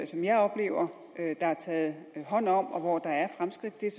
som jeg oplever der er taget hånd om og hvor der er fremskridt er